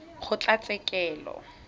kgotlatshekelo